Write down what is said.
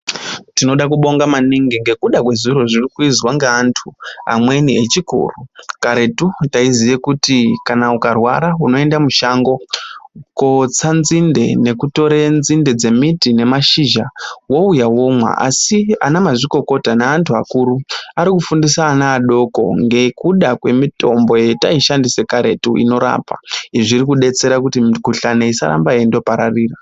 tinoda kubonga maningi ngekuda kwezviro zviri kuizwa ngeantu. Amweni echikoro karetu taiziye kuti kana ukarwara unoenda kushango kotsa nzinde nekutore nzinde dzemiti nemashizha vouya vomwa. Asi vana mazvikokota neantu akuru ari kufundisa ana adoko ngekuda kwemitombo yetai shandisa kareti inorapa. Izvi zvirikubetsera kuti mikulani isaramba yeindo pararira.